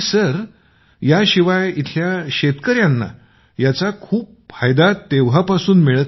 मंजूर जी आणि सर येथे जे शेतकरी आहेत त्यांना याचा खूप मोठा लाभ मिळत आहे तेव्हापासून